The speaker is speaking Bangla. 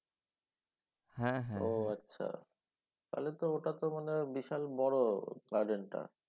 হ্যাঁ হ্যাঁ। ও আচ্ছা। তাহলে তো ওটা তো মানে বিশাল বড় garden টা।